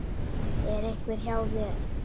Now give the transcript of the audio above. Er einhver hjá þér?